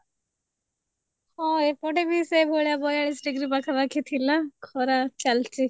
ହଁ ଏପଟେ ବି ସେ ଭଳି ବୟାଳିଶି ଡ଼ିଗ୍ରୀ ପାଖା ପାଖି ଥିଲା ଖରା ଚାଲିଛି